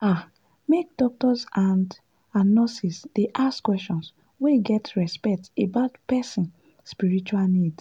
ah make doctors and and nurses dey ask questions wey get respect about person spiritual needs.